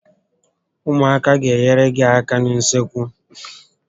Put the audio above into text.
Ụmụaka a gá enyere gị áká n'usekwu